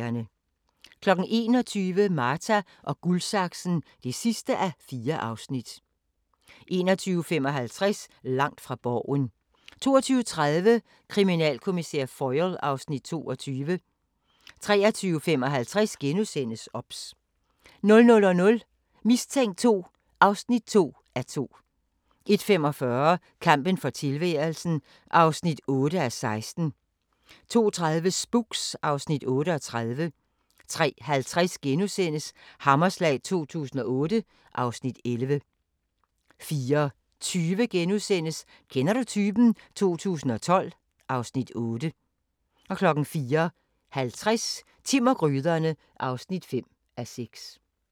21:00: Marta & Guldsaksen (4:4) 21:55: Langt fra Borgen 22:30: Kriminalkommissær Foyle (Afs. 22) 23:55: OBS * 00:00: Mistænkt 2 (2:2) 01:45: Kampen for tilværelsen (8:16) 02:30: Spooks (Afs. 38) 03:50: Hammerslag 2008 (Afs. 11)* 04:20: Kender du typen? 2012 (Afs. 8)* 04:50: Timm og gryderne (5:6)